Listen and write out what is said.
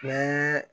Ni